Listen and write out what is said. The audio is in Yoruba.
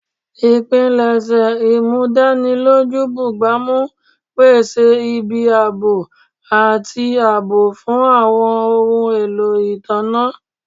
Ipilẹ-imudaniloju bugbamu n pese ibi aabo ati aabo fun awọn ohun elo itanna.